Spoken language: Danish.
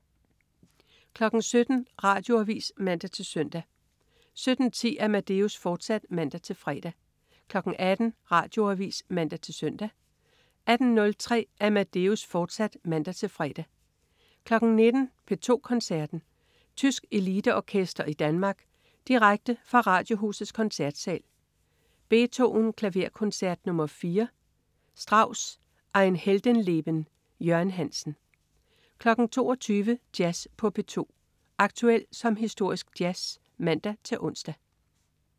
17.00 Radioavis (man-søn) 17.10 Amadeus, fortsat (man-fre) 18.00 Radioavis (man-søn) 18.03 Amadeus, fortsat (man-fre) 19.00 P2 Koncerten. Tysk eliteorkester i Danmark. Direkte fra Radiohusets Koncertsal. Beethoven: Klaverkoncert nr. 4. R. Strauss: Ein Heldenleben. Jørgen Hansen 22.00 Jazz på P2. Aktuel som historisk jazz (man-ons)